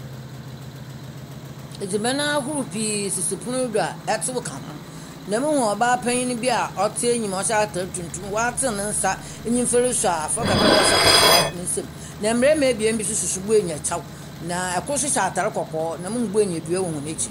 Edziban ahorow pii sisi pon do a etsew ka ho, na muhu ɔbaa panyin a ɔtse enyim a ɔhyɛ atar tuntum a ɔatsen ne nsa ne nyimfa rusuo afra kakraba ɔhyɛ kɔkɔɔ ne nsamu, na mbarimba ebien bi so soso borɔnya kyɛw, na kor so hyɛ atar kɔkɔɔ, na muhu borɔnya dua wɔ hɔn ekyir.